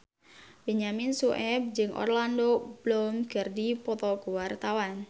Benyamin Sueb jeung Orlando Bloom keur dipoto ku wartawan